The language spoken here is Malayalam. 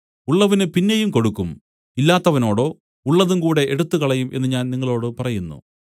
ഉള്ളവന് പിന്നെയും കൊടുക്കും ഇല്ലാത്തവനോട് ഉള്ളതുംകൂടെ എടുത്തുകളയും എന്നു ഞാൻ നിങ്ങളോടു പറയുന്നു